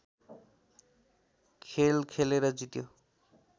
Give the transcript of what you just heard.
खेल खेलेर जित्यो